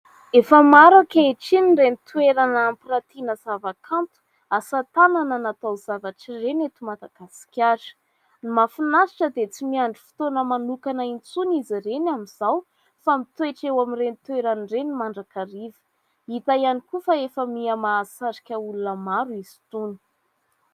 Efa maro ankehitriny ireny toerana ampirantiana zavakanto, asatanana natao zavatra ireny eto Madagasikara. Ny mahafinaritra dia tsy miandry fotoana manokana intsony izy ireny amin'izao fa mitoetra eo amin'ireny toerana ireny mandrakariva. Hita ihany koa fa efa miha-mahasarika olona maro izy itony.